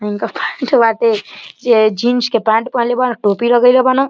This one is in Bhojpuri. इनकर पैंट बाटे। जे जीन्स के पैंट पहनले बाडन। टोपी लगइले बान।